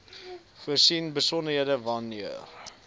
voorsien besonderhede wanneer